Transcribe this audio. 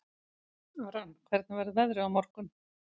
Aran, hvernig verður veðrið á morgun?